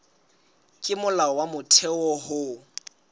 ke molao wa motheo ho